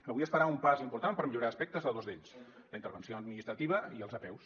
avui es farà un pas important per millorar aspectes de dos d’ells la intervenció administrativa i les apeus